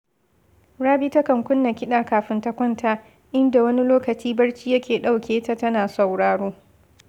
Rabi takan kunna kiɗa kafin ta kwanta, inda wani lokacin barci yake ɗauke ta tana sauraro